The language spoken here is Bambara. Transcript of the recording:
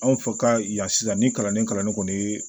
Anw fɛ ka yan sisan ni kalanden kalanni kɔni ye